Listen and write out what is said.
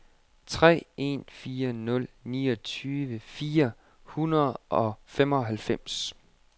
tre en fire nul niogtyve fire hundrede og femoghalvfems